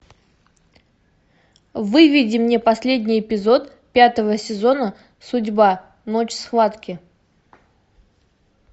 выведи мне последний эпизод пятого сезона судьба ночь схватки